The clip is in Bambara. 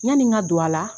Yani n ka don a la